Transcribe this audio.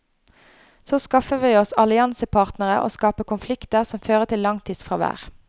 Så skaffer vi oss alliansepartnere og skaper konflikter som fører til langtidsfravær.